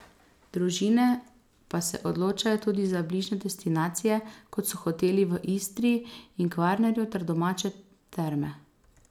Družine pa se odločajo tudi za bližnje destinacije kot so hoteli v Istri in Kvarnerju ter domače terme.